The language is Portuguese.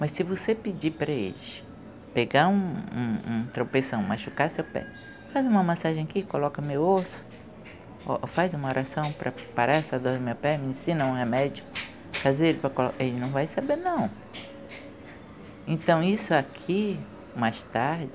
mas se você pedir para eles pegar um um um tropeção, machucar seu pé, faz uma massagem aqui, coloca meu osso, faz uma oração para parar essa dor no meu pé, me ensina um remédio, fazer ele para colo... ele não vai saber não. Então isso aqui, mais tarde